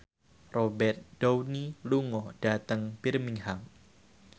Robert Downey lunga dhateng Birmingham